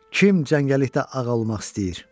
Kim cəngəllikdə ağa olmaq istəyir?